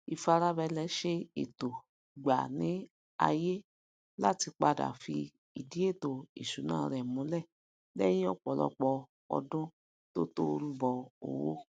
ifarabalẹ se eto gba ni ayé lati pada fi idi ètò ìṣúná rẹ múlẹ lèyìn òpòlopò odún tótó rúbọ owó